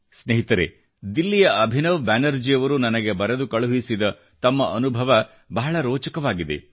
ಸ್ನೇಹಿತರೆ ದಿಲ್ಲಿಯ ಅಭಿನವ್ ಬ್ಯಾನರ್ಜಿಯವರು ನನಗೆ ಬರೆದು ಕಳುಹಿಸಿದ ತಮ್ಮ ಅನುಭವ ಬಹಳ ರೋಚಕವಾಗಿದೆ